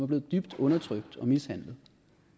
blevet dybt undertrykt og mishandlet